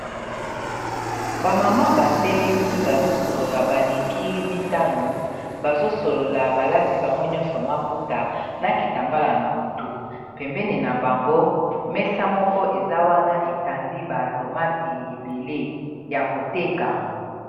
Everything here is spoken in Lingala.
bamama batelemi bazosolola baleki mitano bazosolola balati bango nyonso maputa na kita mbala na motu pembene na bango mesa moko eza wana etandi baatomati ebele ya koteka